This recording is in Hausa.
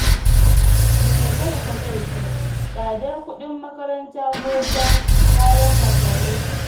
Da me talaka zai ji? Tsadar kuɗin makaranta ko ta kayan masarufi?